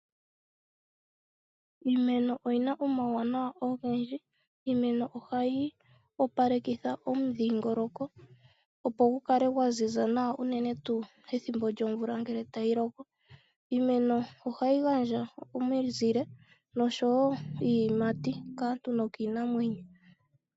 Iimeno oyina omauwanawa ogendji. Iimeno ohayi opalekitha omudhingoloko opo gu kale gwa ziza nawa uunene tuu pethimbo lyomvula tayi loko. Iimeno ohayi gandja noshowo iiyimati kaantu no kiinamwenyo.